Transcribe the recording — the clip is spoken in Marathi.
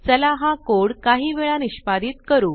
चला हा कोड काही वेळा निष्पादीत करू